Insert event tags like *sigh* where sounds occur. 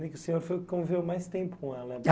*unintelligible* o senhor conviveu mais tempo com ela *unintelligible*